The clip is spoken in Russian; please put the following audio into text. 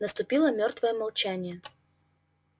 наступило мёртвое молчание